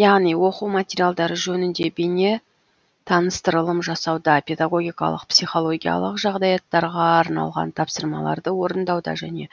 яғни оқу материалдары жөнінде бейне таныстырылым жасауда педагогикалық психологиялық жағдаяттарға арналған тапсырмаларды орындауда және